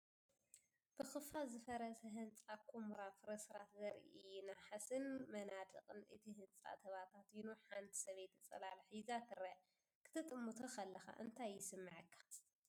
ብኸፊል ዝፈረሰ ህንጻ፡ ኵምራ ፍርስራስ ዘርኢ እዩ። ናሕስን መናድቕን እቲ ህንፃ ተበታቲኑ፤ ሓንቲ ሰበይቲ ጽላል ሒዛ ትርአ። ክትጥምቶ ከለኻ እንታይ ይስምዓካ?